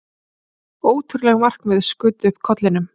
Ótrúleg markmið skutu upp kollinum.